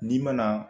N'i ma na